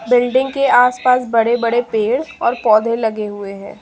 Building के आसपास बड़े-बड़े पेड़ और पौधे लगे हुए हैं।